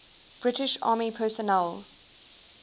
british army personnel